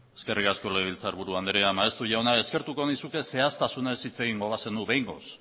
eskerrik asko legebiltzarburu andrea maeztu jauna eskertuko nizuke zehaztasunez hitz egingo bazenu behingoz